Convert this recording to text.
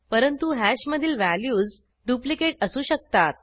परंतु हॅशमधील values duplicate असू शकतात